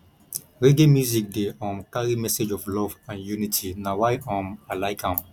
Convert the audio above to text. reggae music dey um carry message of love and unity na why um i like am